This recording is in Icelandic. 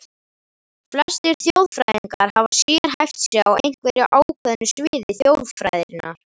Flestir þjóðfræðingar hafa sérhæft sig á einhverju ákveðnu sviði þjóðfræðinnar.